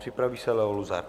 Připraví se Leo Luzar.